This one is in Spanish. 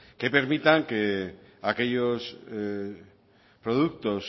que permitan que aquellos productos